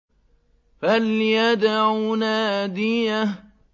فَلْيَدْعُ نَادِيَهُ